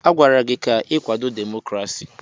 Agwara gị ka ị kwado demokrasi!